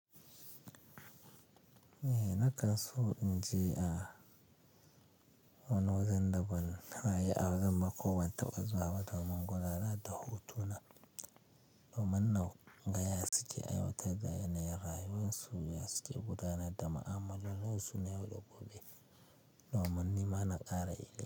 Eh, na kan so in je a wani wajen da ban taɓa yi a wajen ba ko ban taɓa zuwa ba domin gudanar da hotuna, domin na ga ya suke aiwatar da yanayin rayuwar su, ya suke gudanar da ma'amalolin su na yau da gobe domin nima na ƙara yi.